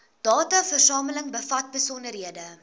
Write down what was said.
dataversameling bevat besonderhede